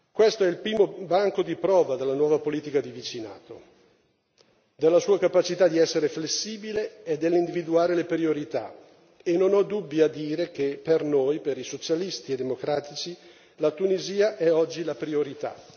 Questo è il primo banco di prova della nuova politica di vicinato, della sua capacità di essere flessibile e di individuare le priorità, e non ho dubbi a dire che per noi, per i Socialisti e democratici, la Tunisia è oggi la priorità.